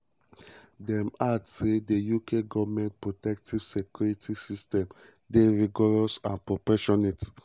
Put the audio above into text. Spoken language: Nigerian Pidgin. um dem add say "di uk goment protective security security um system dey rigorous and proportionate.